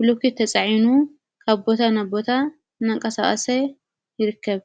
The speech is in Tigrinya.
ብሎኬት ተፃዒኑ ካብ ቦታ ናብ ቦታ እናንቀሳቀሰቀ ይርከብ።